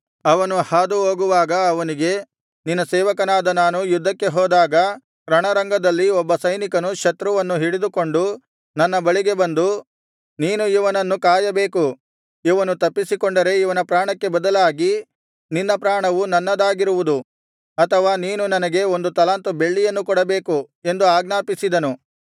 ಅವನು ಹಾದು ಹೋಗುವಾಗ ಅವನಿಗೆ ನಿನ್ನ ಸೇವಕನಾದ ನಾನು ಯುದ್ಧಕ್ಕೆ ಹೋದಾಗ ರಣರಂಗದಲ್ಲಿ ಒಬ್ಬ ಸೈನಿಕನು ಶತ್ರುವನ್ನು ಹಿಡಿದುಕೊಂಡು ನನ್ನ ಬಳಿಗೆ ಬಂದು ನೀನು ಇವನನ್ನು ಕಾಯಬೇಕು ಇವನು ತಪ್ಪಿಸಿಕೊಂಡರೆ ಇವನ ಪ್ರಾಣಕ್ಕೆ ಬದಲಾಗಿ ನಿನ್ನ ಪ್ರಾಣವು ನನ್ನದಾಗಿರುವುದು ಅಥವಾ ನೀನು ನನಗೆ ಒಂದು ತಲಾಂತು ಬೆಳ್ಳಿಯನ್ನು ಕೊಡಬೇಕು ಎಂದು ಆಜ್ಞಾಪಿಸಿದನು